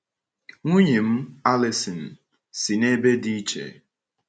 Nwunye m, Alison, si n’ebe dị iche.